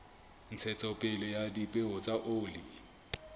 ntshetsopele ya dipeo tsa oli